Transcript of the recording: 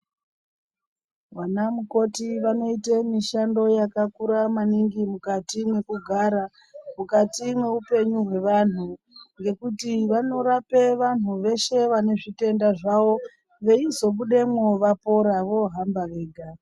Vanamukoti wanoite mushando wakakura maningi mukati mekugara, mukati mehupenyu hwevanhu nekuti vanorape vanhu weshe vane zvitenda zvawo weizobudemo wapora wohamba wega.